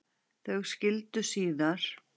Þau skildu síðar.